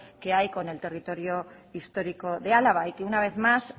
que hay con el territorio histórico de álava y que una vez más